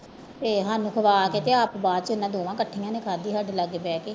ਤੇ ਸਾਨੂੰ ਖਵਾ ਕੇ ਤੇ ਆਪ ਬਾਅਦ ਚ ਇਹਨਾਂ ਦੋਵਾਂ ਇਕੱਠੀਆਂ ਨੇ ਖਾਧੀ ਸਾਡੇ ਲਾਗੇ ਬਹਿ ਕੇ